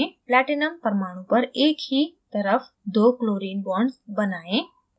platinum परमाणु पर एक ही तरफ दो chlorine bonds बनाएं